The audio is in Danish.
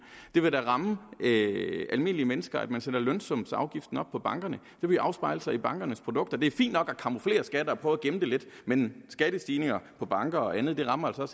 det vil da ramme almindelige mennesker at man sætter lønsumsafgiften op på bankerne det vil afspejle sig i bankernes produkter det er fint nok at camouflere skatter og prøve at gemme dem lidt men skattestigninger på banker og andet rammer altså